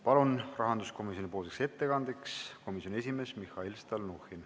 Palun rahanduskomisjoni ettekandjaks komisjoni esimehe Mihhail Stalnuhhini.